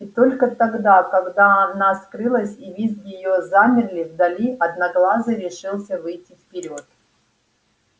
и только тогда когда она скрылась и визги её замерли вдали одноглазый решился выйти вперёд